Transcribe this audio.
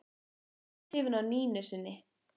Sá var hrifinn af Nínu sinni.